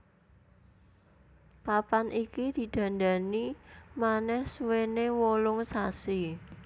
Papan iki didandani manèh suwéné wolung sasi